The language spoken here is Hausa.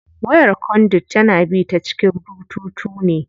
Wayar conduit tana bi ta cikin bututu ne.